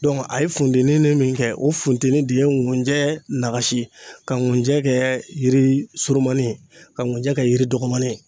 a ye funteni min kɛ, o funteni de ye nkunjɛ nakasi ka nkunjɛ kɛ yiri surumanin, ka nkunjɛ kɛ yiri dɔgɔmanin.